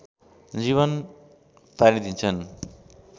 जीवन पारिदिन्छन्